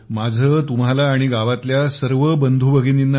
माझे तुम्हाला आणि गावातील सर्व बंधू भगिनींना